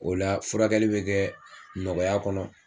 O la furakɛli bɛ kɛ nɔgɔya kɔnɔ